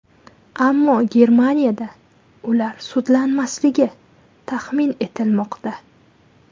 Ammo Germaniyada ular sudlanmasligi taxmin etilmoqda.